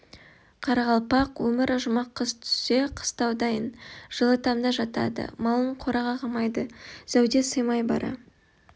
қарақалпақ өмірі жұмақ қыс түссе қыстау дайын жылы тамда жатады малын қораға қамайды зәуде сыймай бара